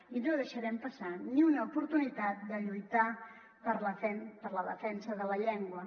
i no deixarem pas·sar ni una oportunitat de lluitar per la defensa de la llengua